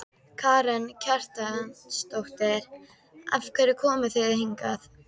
Karen Kjartansdóttir: Af hverju komuð þið hingað?